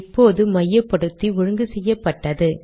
இப்போது மையப்படுத்தி ஒழுங்கு செய்யப்பட்டது